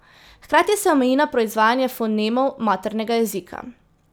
Hkrati se omeji na proizvajanje fonemov maternega jezika.